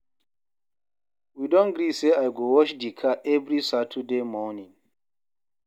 We don gree sey I go wash di car every Saturday morning.